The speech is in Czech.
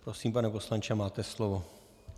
Prosím, pane poslanče, máte slovo.